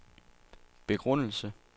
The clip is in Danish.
begrundelse